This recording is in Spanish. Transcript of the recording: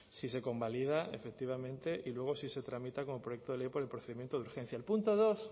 si se convalida efectivamente y luego si se tramita como proyecto de ley por el procedimiento de urgencia el punto dos